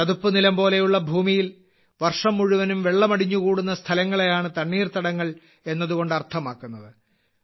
ചതുപ്പുനിലം പോലെയുള്ള ഭൂമിയിൽ വർഷം മുഴുവനും വെള്ളം അടിഞ്ഞുകൂടുന്ന സ്ഥലങ്ങളെയാണ് തണ്ണീർത്തടങ്ങൾ എന്നതുകൊണ്ട് അർത്ഥമാക്കുന്നത്